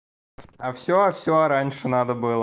а всё всё раньше надо было